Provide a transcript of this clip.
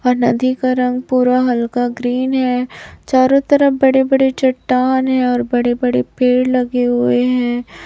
और नदी का रंग पूरा हल्का ग्रीन है चारों तरफ बड़े-बड़े चट्टान है और बड़े-बड़े पेड़ लगे हुए है।